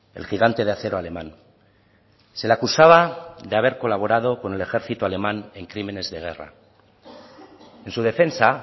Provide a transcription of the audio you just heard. el gigante de acero alemán se le acusaba de haber colaborado con el ejército alemán en crímenes de guerra en su defensa